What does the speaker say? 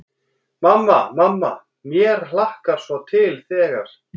Mamma, mamma mér hlakkar svo til þegar.